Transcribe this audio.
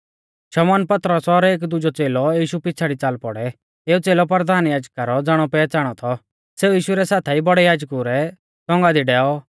शमौन पतरस और एक दुजौ च़ेलौ यीशु पिछ़ाड़ी च़ाल पौड़ै एऊ च़ेलौ परधान याजका रौ ज़ाणौपहच़ाणौ थौ सेऊ यीशु रै साथाई बौड़ै याजकु रै तौंगा दी डैऔ